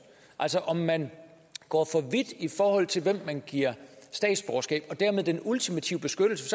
altså om man går for vidt i forhold til hvem man giver statsborgerskab og dermed den ultimative beskyttelse